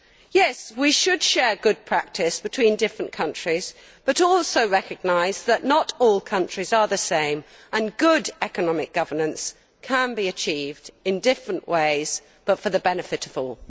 Yes, we should share good practice between different countries, but also recognise that not all countries are the same and good economic governance can be achieved in different ways but for the benefit of all.